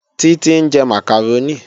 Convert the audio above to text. Títí ń jẹ màkàrónì